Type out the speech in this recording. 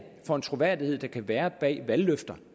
for en troværdighed der kan være bag valgløfter